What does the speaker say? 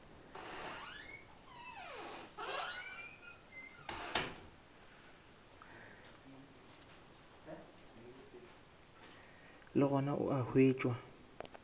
le gona o a hwetšwa